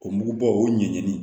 O mugubɔ o ɲɛɲini